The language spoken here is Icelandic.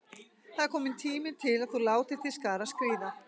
Það er kominn tími til að þú látir til skarar skríða.